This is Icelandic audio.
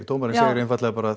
dómarinn segir einfaldlega bara